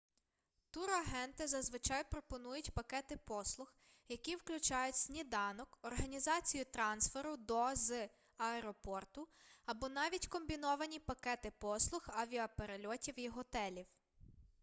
турагенти зазвичай пропонують пакети послуг які включають сніданок організацію трансферу до/з аеропорту або навіть комбіновані пакети послуг авіаперельотів і готелів